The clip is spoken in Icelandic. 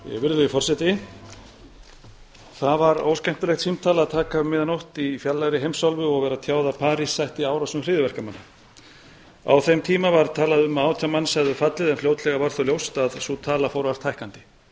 virðulegi forseti það var óskemmtilegt símtal að taka um miðja nótt í fjarlægri heimsálfu og vera tjáð að parís sætti árásum hryðjuverkamanna á þeim tíma var talað um að átján manns hefðu fallið en fljótlega varð þó ljóst að sú tala fór ört hækkandi